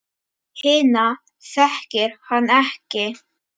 Hina þekkir hann ekki.